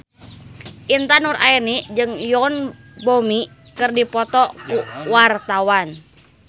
Intan Nuraini jeung Yoon Bomi keur dipoto ku wartawan